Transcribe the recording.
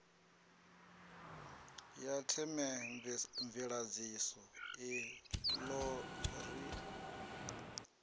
ya themamveledziso i ḓo ri